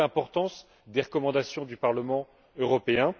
D'où l'importance des recommandations du Parlement européen.